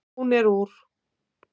Hún er úr